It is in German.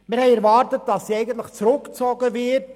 Wir haben erwartet, dass sie zurückgezogen wird.